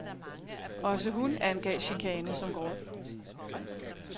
Også hun angav chikane som grund.